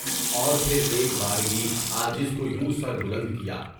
اور پھر ایک بار گئی، عاجز کو یوں سر بلند کیا؟